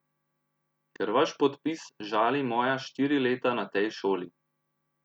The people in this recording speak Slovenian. Ker vaš podpis žali moja štiri leta na tej šoli.